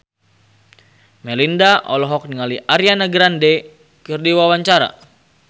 Melinda olohok ningali Ariana Grande keur diwawancara